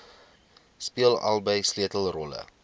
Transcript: speel albei sleutelrolle